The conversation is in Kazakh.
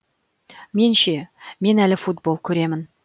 мен ше мен әлі футбол көремін